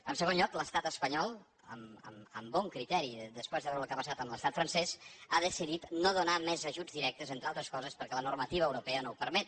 en segon lloc l’estat espanyol amb bon criteri després de veure el que ha passat amb l’estat francès ha decidit no donar més ajuts directes entre altres coses perquè la normativa europea no ho permet